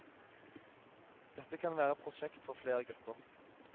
Dette kan være prosjekt for flere grupper.